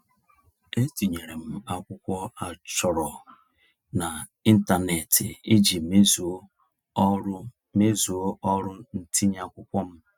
E tinyere m akwụkwọ a chọrọ n'ịntaneetị iji mezuo ọrụ mezuo ọrụ ntinye akwụkwọ m.